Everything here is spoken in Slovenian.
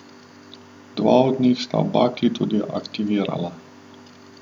Dva od njih sta bakli tudi aktivirala.